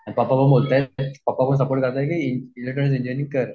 आणि पप्पा पण बोलतायत की, पप्पा पण सपोर्ट करतायेत की इलेक्ट्रॉनिक्स इंजिनियरिंग कर.